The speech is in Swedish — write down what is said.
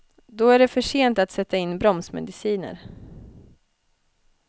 Då är det för sent att sätta in bromsmediciner.